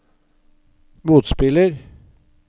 motspiller